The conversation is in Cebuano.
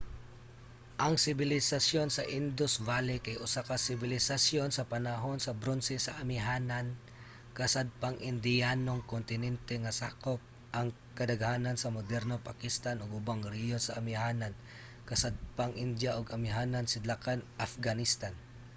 ang sibilisasyon sa indus valley kay usa ka sibilisasyon sa panahon sa bronse sa amihanan-kasadpang indiyanong kontinente nga sakop ang kadaghanan sa modernong pakistan ug ubang rehiyon sa amihanan-kasadpang india ug amihanan-sidlakan afghanistan